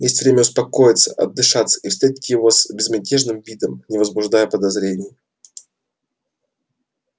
есть время успокоиться отдышаться и встретить его с безмятежным видом не возбуждая подозрений